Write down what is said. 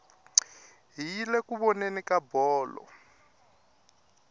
hi yile ku voneni ka bolo